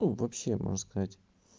ну вообще можешь сказать